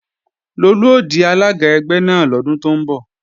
Lolú ó di alága ẹgbẹ́ náà lọ́dún tó ń bọ̀